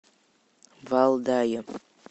валдае